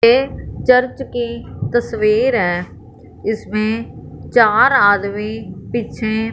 ये चर्च की तस्वीर है इसमें चार आदमी पीछे--